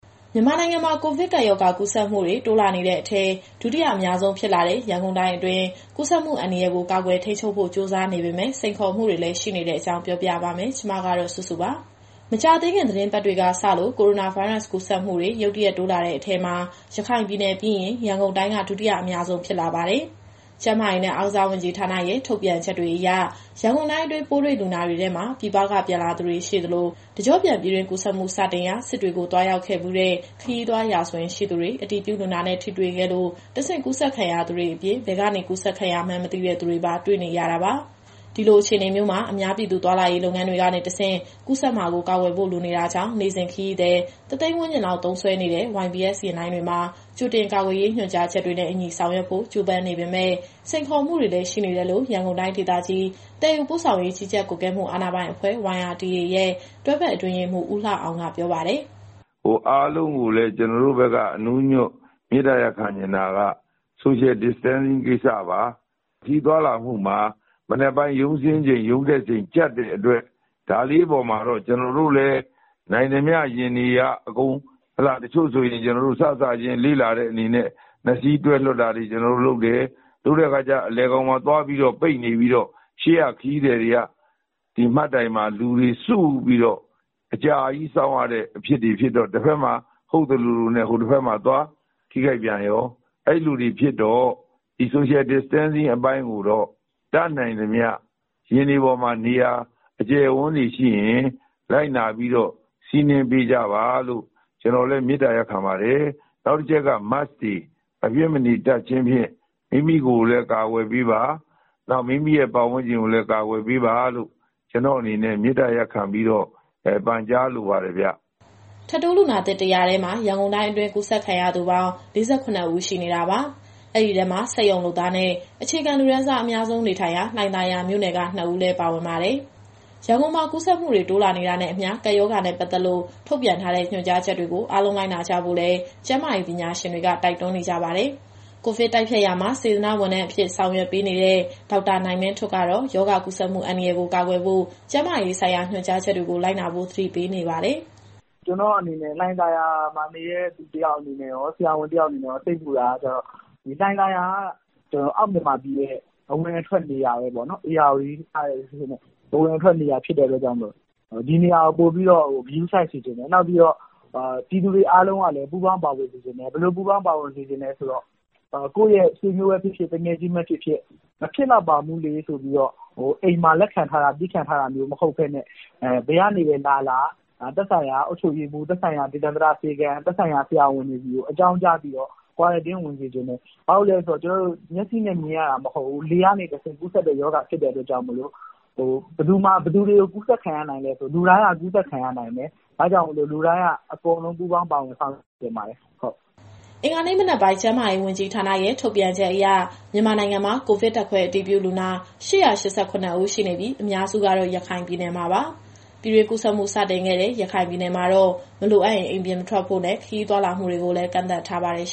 မြန်မာနိုင်ငံမှာ ကိုဗစ်ကပ်ရောဂါကူးစက်မှုတွေ တိုးလာနေတဲ့အထဲ ဒုတိယအများဆုံးဖြစ်လာနေတဲ့ ရန်ကုန်တိုင်းအတွင်း ကူးစက်မှုအန္တရာယ်ကို ကာကွယ်ထိန်းချုပ်ဖို့ ကြိုးစားနေပေမဲ့ စိန်ခေါ်မှုတွေလည်း ရှိနေတဲ့အကြောင်း ပြောပြပါမယ်။ ဒီသတင်းကို ဗွီအိုအေမြန်မာပိုင်း သတင်းထောက်စုစုက တင်ဆက်ပေးမှာပါ။ မကြာသေးခင် သီတင်းပတ်တွေကစလို့ ကိုရိုနာဗိုင်းရပ်စ် ကူးစက်မှုတွေ ရုတ်တရက် တိုးလာတဲ့အထဲမှာ ရခိုင်ပြည်နယ်ပြီးရင် ရန်ကုန်တိုင်းက ဒုတိယအများဆုံး ဖြစ်လာပါတယ်။ ကျန်းမာရေးနဲ့ အားကစားဝန်ကြီးဌာနရဲ့ ထုတ်ပြန်ချက်တွေအရ ရန်ကုန်တိုင်းအတွင်း ပိုးတွေ့လူနာတွေထဲမှာ ပြည်ပကပြန်လာသူတွေရှိသလို၊ တကျော့ပြန်ပြည်တွင်းကူးစက်မှု စတင်ရာ စစ်တွေကိုသွားရောက်ခဲ့ဖူးတဲ့ ခရီးသွားရာဇဝင် ရှိသူတွေ၊ အတည်ပြုလူနာနဲ့ ထိတွေ့ခဲ့လို့ တဆင့်ကူးစက်ခံရသူတွေအပြင်၊ ဘယ်ကနေ ကူးစက်ခံရမှန်းမသိတဲ့ သူတွေပါ တွေ့နေရတာပါ။ ဒီလိုအခြေအနေမျိုးမှာ အများပြည်သူ သွားလာရေး လုပ်ငန်းတွေကတဆင့် ကူးစက်မှာကို ကာကွယ်ဖို့ လိုအပ်နေတာကြောင့် နေ့စဉ် ခရီးသည် ၁၀၀,၀၀၀ ဝန်းကျင်လောက် သုံးစွဲနေတဲ့ YBS ယာဉ်လိုင်းတွေမှာ ကြိုတင်ကာကွယ်ရေး ညွှန်ကြားချက်တွေနဲ့အညီ ဆောင်ရွက်ဖို့ ကြိုးပမ်းနေပေမဲ့ စိန်ခေါ်မှုတွေလည်း ရှိနေတယ်လို့ ရန်ကုန်တိုင်းဒေသကြီး သယ်ယူပို့ဆောင်ရေး ကြီးကြပ်ကွပ်ကဲမှု အာဏာပိုင်အဖွဲ့ YRTA ရဲ့ တွဲဖက်အတွင်းရေးမှူး ဦးလှအောင်က ပြောပါတယ်။ “အားလုံးကိုလည်း ကျနော်တို့ဘက်က အနူးအညွှတ် မေတ္တာရပ်ခံချင်တာက Social Distancing ကိစ္စပါ။ ခရီးသွားလာမှုမှာ မနက်ပိုင်းရုံးတက် ရုံးဆင်းချိန်ကြပ်တဲ့အတွက် ဒါလေးအပေါ်မှာတော့ ကျနော်တို့လည်း နိုင်သမျှယာဉ်တွေက တချို့ဆိုရင် စစချင်းမှာ လေ့လာတဲ့အနေနဲ့ ၂ စီးတွဲလွှတ်တာတွေ လုပ်တယ်။ လုပ်တဲ့အခါကျ အလယ်မှာသွားပိတ်နေပြီးတော့ ခရီးသည်တွေက ဒီမှတ်တိုင်မှာ လူတွေစုပြီးတော့ အကြာကြီးစောင့်ရတဲ့အဖြစ်တွေ ဖြစ်တော့ တဘက်မှာ ဟုတ်သလိုလိုနဲ့ ဟိုတဘက်မှာ သွားထိခိုက်ပြန်ရော။ အဲလိုတွေဖြစ်တော့ ဒီ Social Distancing အပိုင်းကိုတော့ တတ်နိုင်သမျှ ယာဉ်တွေပေါ်မှာနေရာ အကျယ်အဝန်းတွေရှိရင် လိုက်နာပြီးတော့ စီးနင်းပေးကြပါလို့ မေတ္တာရပ်ခံပါတယ်။ နောက်တချက်က Mask မဖြစ်မနေတပ်ခြင်းဖြင့် မိမိကိုယ်လည်း ကာကွယ်ပေးပါ။ နောက်မိမိရဲ့ ပတ်ဝန်းကျင်ကိုလည်း ကာကွယ်ပေးပါလို့ ကျနော့်အနေနဲ့ မေတ္တာရပ်ခံ ပန်ကြားလိုပါတယ်ဗျ။” ထပ်တိုးလူနာသစ် ၁၀၀ ထဲမှာ ရန်ကုန်တိုင်းအတွင်း ကူးစက်ခံရသူပေါင်း ၄၇ ဦး ရှိနေတာပါ။ အဲဒီထဲမှာ စက်ရုံလုပ်သားနဲ့ အခြေခံလူတန်းစား အများဆုံးနေထိုင်ရာ လှိုင်သာယာမြို့နယ်က ၂ ဦးလည်း ပါဝင်ပါတယ်။ ရန်ကုန်မှာ ကူးစက်မှုတွေ တိုးလာနေတာနဲ့အမျှ ကပ်ရောဂါနဲ့ပတ်သက်လို့ ထုတ်ပြန်ထားတဲ့ ညွှန်ကြားချက်တွေကို အားလုံးလိုက်နာကြဖို့လည်း ကျန်းမာရေးပညာရှင်တွေ တိုက်တွန်းနေကြပါတယ်။ ကိုဗစ်တိုက်ဖျက်ရာမှာ စေတနာ့ဝန်ထမ်းအဖြစ် ဆောင်ရွက်ပေးနေတဲ့ ဒေါက်တာနိုင်မင်းထွဋ်ကတော့ ရောဂါကူးစက်မှု အန္တရာယ်ကို ကာကွယ်ဖို့ ကျန်းမာရေးဆိုင်ရာ ညွှန်ကြားချက်တွေကို လိုက်နာဖို့ သတိပေးနေပါတယ်။ “ကျနော့်အနေနဲ့ လှိုင်သာယာမှာနေတဲ့ လူတယောက်အနေနဲ့ရော၊ ဆရာဝန်တယောက်အနေနဲ့ရော စိတ်ပူတာက လှိုင်သာယာက အောက်မြန်မာပြည်ရဲ့အဝင်အထွက်နေရာပဲပေါ့နော်။ ဧရာဝတီတို့ဘက်က အဝင်အထွက်နေရာဖြစ်တဲ့ အတွက်ကြောင့်မို့လို့ ဒီနေရာကိုပိုပြီးတော့ ဂရုစိုက်စေချင်တယ်။ နောက်ပြီးတော့ ပြည်သူတွေအားလုံးကလည်း ပူးပေါင်းပါဝင်စေချင်တယ်။ ဘယ်လိုပူးပေါင်း ပါဝင်စေချင်တယ်ဆိုတော့ ကိုယ့်ရဲ့ဆွေမျိုးပဲဖြစ်ဖြစ် သူငယ်ချင်းပဲဖြစ်ဖြစ် မဖြစ်လောက်ပါဘူးလေဆိုပြီးတော့ အိမ်မှာလက်ခံထားတာမျိုး မဟုတ်ပဲနဲ့ ဘယ်ကနေပဲလာလာ သက်ဆိုင်ရာအုပ်ချုပ်ရေးမှူး၊ ဒေသန္တရဆေးခန်းနဲ့ ဆရာဝန်တွေဆီကို အကြောင်းကြားပြီးတော့ Quarantine ဝင်စေချင်တယ်။ ဘာကြောင့်လည်းဆိုတော့ ကျနော်တို့မျက်စိနဲ့ မြင်ရတာမဟုတ်ဘူး။ လေကနေတဆင့် ကူးစက်တဲ့ရောဂါဖြစ်လို့ ဘယ်သူတွေကိုကူးစက်ခံရနိုင်လည်းဆို လူတိုင်းက ကူးစက်ခံရနိုင်တယ်။ ဒါကြောင့်မို့ လူတိုင်းအကုန်လုံး ပူးပေါင်းပါဝင်ဆောင်ရွက် စေချင်ပါတယ်။” အင်္ဂါနေ့ မနက်ပိုင်း ကျန်းမာရေးဝန်ကြီးဌာနရဲ့ ထုတ်ပြန်ချက်အရ မြန်မာနိုင်ငံမှာ ကိုဗစ်ဓာတ်ခွဲအတည်ပြုလူနာ ၈၈၇ ဦးရှိနေပြီး၊ အများစုကတော့ ရခိုင်ပြည်နယ်မှာပါ။ ပြည်တွင်းကူးစက်မှုစတင်ခဲ့တဲ့ ရခိုင်ပြည်နယ်မှာတော့ မလိုအပ်ရင် အိမ်ပြင်မထွက်ဖို့နဲ့ ခရီးသွားလာမှုတွေကိုလည်း ကန့်သတ်ထားပါတယ်။